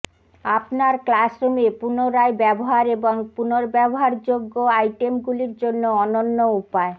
আপনার ক্লাসরুমে পুনরায় ব্যবহার এবং পুনর্ব্যবহারযোগ্য আইটেমগুলির জন্য অনন্য উপায়